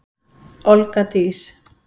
Olga Dís.